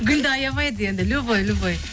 гүлді аямайды енді любой любой